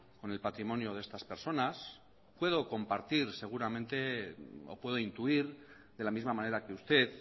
con el patrimonio de estas personas puedo compartir seguramente o puedo intuir de la misma manera que usted